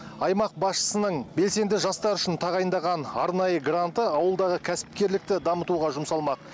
аймақ басшысының белсенді жастар үшін тағайындаған арнайы гранты ауылдағы кәсіпкерлікті дамытуға жұмсалмақ